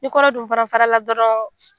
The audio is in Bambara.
Ni kɔnɔ dun fana fara la dɔrɔn.